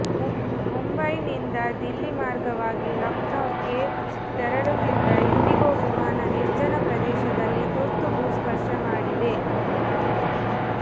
ಮುಂಬೈನಿಂದ ದಿಲ್ಲಿ ಮಾರ್ಗವಾಗಿ ಲಕ್ನೋಕ್ಕೆ ತೆರಳುತ್ತಿದ್ದ ಇಂಡಿಗೊ ವಿಮಾನ ನಿರ್ಜನ ಪ್ರದೇಶದಲ್ಲಿ ತುರ್ತು ಭೂ ಸ್ಪರ್ಶ ಮಾಡಿದೆ